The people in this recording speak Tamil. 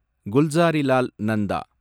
குல்சாரிலால் நந்தா